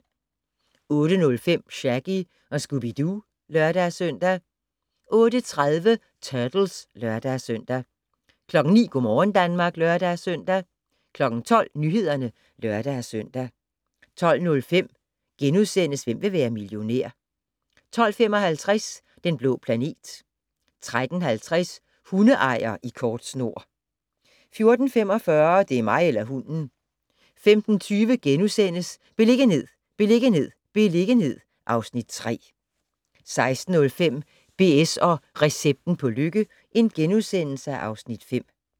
08:05: Shaggy & Scooby-Doo (lør-søn) 08:30: Turtles (lør-søn) 09:00: Go' morgen Danmark (lør-søn) 12:00: Nyhederne (lør-søn) 12:05: Hvem vil være millionær? * 12:55: Den blå planet 13:50: Hundeejer i kort snor 14:45: Det er mig eller hunden 15:20: Beliggenhed, beliggenhed, beliggenhed (Afs. 3)* 16:05: BS & recepten på lykke (Afs. 5)*